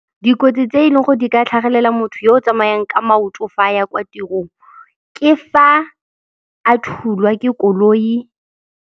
Dikotsi tse e leng gore di ka tlhagelela motho yo o tsamayang ka maoto fa a ya kwa tirong, ke fa a thulwa ke koloi.